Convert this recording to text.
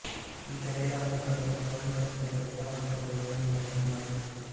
ಈತ ಲೀಲಾವತಿ ಕಾವ್ಯದಲ್ಲಿ ಸೌಂದತ್ತಿಯ ರಟ್ಟವಂಶದ ಒಂದನೆಯ ಲಕ್ಷ್ಮಣರಾಜ ಸು